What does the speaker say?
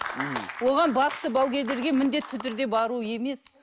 оған бақсы балгерлерге міндетті түрде бару емес